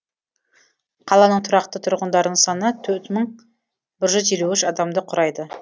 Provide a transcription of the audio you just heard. қаланың тұрақты тұрғындарының саны төрт мың бір жүз елу үш адамды құрайды